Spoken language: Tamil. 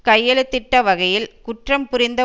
கையெழுத்திட்ட வகையில் குற்றம் புரிந்த